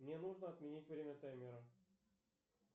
мне нужно отменить время таймера